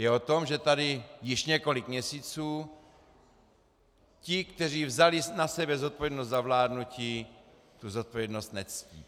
Je o tom, že tady již několik měsíců ti, kteří vzali na sebe zodpovědnost za vládnutí, tu zodpovědnost nectí.